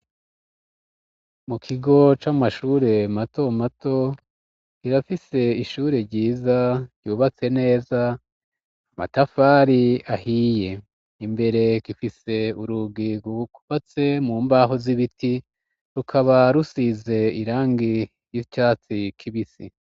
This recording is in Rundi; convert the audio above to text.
Mu kigo c'amashure mato mato, kirafise ishure ryiza ryubatse neza amatafari ahiye, imbere gifise urugi rwukubatse mu mbaho z'ibiti rukaba rusize irangi ry'icatsi kibisi